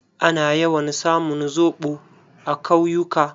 Ana yawan samun zoɓo a kawyuka.